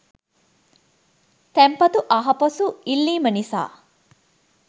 තැන්පතු ආපසු ඉල්ලීම නිසා